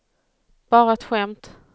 bara ett skämt